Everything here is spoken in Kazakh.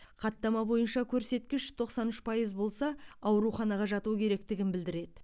хаттама бойынша көрсеткіш тоқсан үш пайыз болса ауруханаға жату керектігін білдіреді